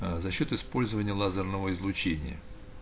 аа за счёт использования лазерного излучения